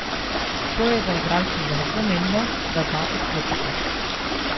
To je za igralca zelo pomembno, da zna odklopiti.